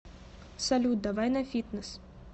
салют давай на фитнес